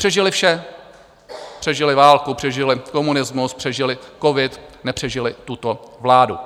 Přežily vše, přežily válku, přežily komunismus, přežily covid, nepřežily tuto vládu.